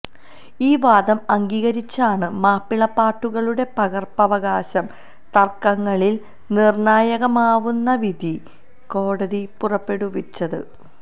ഈ വാദം അംഗീകരിച്ചാണ് മാപ്പിളപ്പാട്ടുകളുടെ പകര്പ്പവകാശ തര്ക്കങ്ങളില് നിര്ണ്ണായകമാവുന്ന വിധി കോടതി പുറപ്പെടുവിച്ചത്